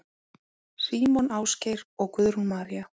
Símon Ásgeir og Guðrún María.